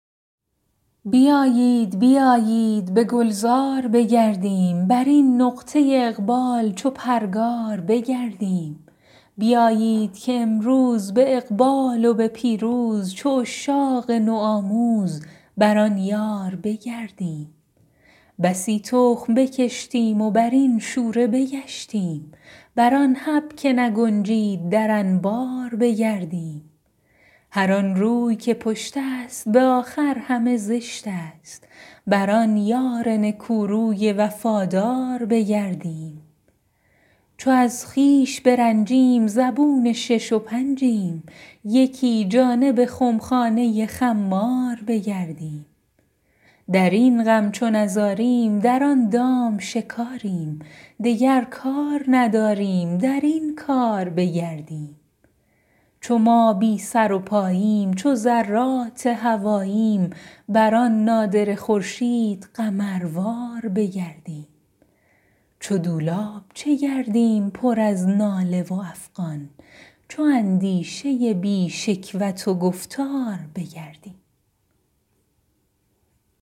بیایید بیایید به گلزار بگردیم بر این نقطه اقبال چو پرگار بگردیم بیایید که امروز به اقبال و به پیروز چو عشاق نوآموز بر آن یار بگردیم بسی تخم بکشتیم بر این شوره بگشتیم بر آن حب که نگنجید در انبار بگردیم هر آن روی که پشت است به آخر همه زشت است بر آن یار نکوروی وفادار بگردیم چو از خویش برنجیم زبون شش و پنجیم یکی جانب خمخانه خمار بگردیم در این غم چو نزاریم در آن دام شکاریم دگر کار نداریم در این کار بگردیم چو ما بی سر و پاییم چو ذرات هواییم بر آن نادره خورشید قمروار بگردیم چو دولاب چه گردیم پر از ناله و افغان چو اندیشه بی شکوت و گفتار بگردیم